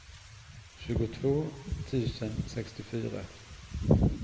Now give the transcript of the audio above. tjugotvå tusen sextiofyra